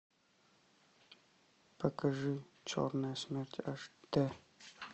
покажи черная смерть аш д